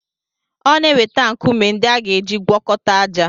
Ọ na-eweta nkume ndị a ga-eji gwọkọta ájá.